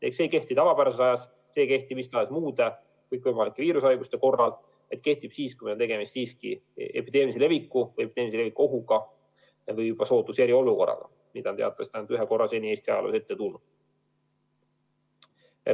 See ei kehti tavapärasel ajal, see ei kehti mis tahes muude kõikvõimalike viirushaiguste korral, vaid kehtib siis, kui on tegemist epideemilise leviku või epideemilise leviku ohuga või juba sootuks eriolukorraga, mida on seni teatavasti ainult üks kord Eesti ajaloos olnud.